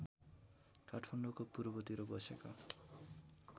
काठमाडौँको पूर्वतिर बसेको